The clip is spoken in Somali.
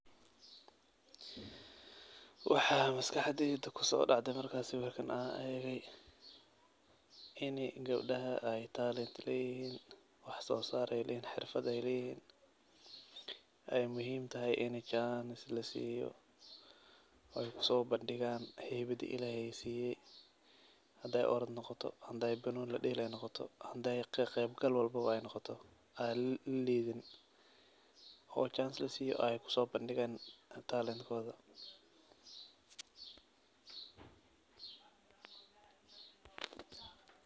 Waxaa maskaxdayda kusodacday marki sawirkan aan eegay in gabdaha ay talent, ay leeyihin wax soosar ay leeyihn, xirfad ay leeyihiin ay muhiim tahay in jaanis lasiiyo oy kusoo badhigaan haybadii ilaahay siiye haday orad noqoto, haday banooni ladelay noqoto, haday ka qayb gal walbaba ay noqotaba ay noqoto aa laliidiin oo chance lasiiyo ay kusoobadigaan talent kooda.